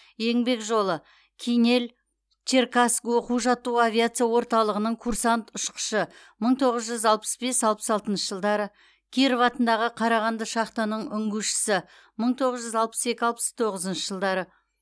еңбек жолы кинель черкасск оқу жаттығу авиация орталығының курсант ұшқышы мың тоғыз жүз алпыс бес алпыс алтыншы жылдары киров атындағы қарағанды шахтаның үңгушісі мың тоғыз жүз алпыс екі алпыс тоғызыншы жылдары